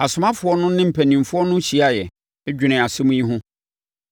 Asomafoɔ no ne mpanimfoɔ no hyiaeɛ, dwenee asɛm yi ho.